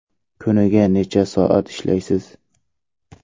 Kuniga necha soat ishlaysiz?